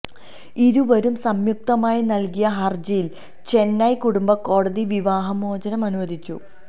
ഇരുവരും സംയുക്തമായി നൽകിയ ഹർജിയിൽ ചെന്നൈ കുടുംബ കോടതി വിവാഹമോചനം അനുവദിച്ചു